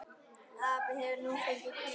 Afi hefur nú fengið hvíld.